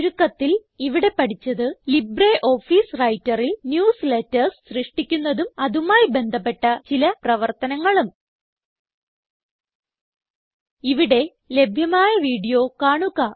ചുരുക്കത്തിൽ ഇവിടെ പഠിച്ചത് ലിബ്രിയോഫീസ് Writerൽ ന്യൂസ്ലേറ്റർസ് സൃഷ്ടിക്കുന്നതും അതുമായി ബന്ധപ്പെട്ട ചില പ്രവർത്തനങ്ങളും ഇവിടെ ലഭ്യമായ വീഡിയോ കാണുക